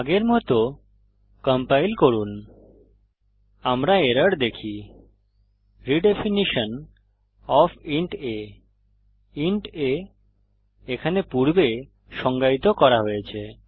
আগের মত কম্পাইল করুন আমরা এরর দেখি redefinition of int a int a এখানে পূর্বে সংজ্ঞায়িত করা হয়েছে